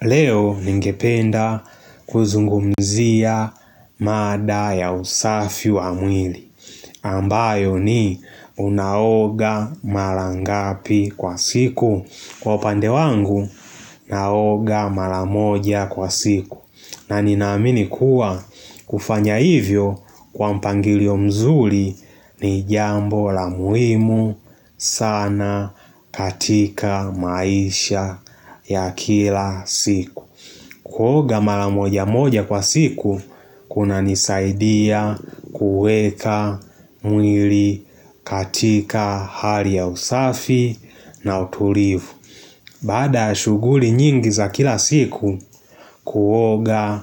Leo ningependa kuzungumzia mada ya usafi wa mwili ambayo ni unaoga mara ngapi kwa siku Kwa upande wangu naoga mara moja kwa siku na ninaamini kuwa kufanya hivyo kwa mpangilio mzuri ni jambo la muhimu sana katika maisha ya kila siku Kuoga mara moja moja kwa siku Kuna nisaidia kuweka mwili katika hali ya usafi na utulivu Baada ya shughuli nyingi za kila siku Kuoga,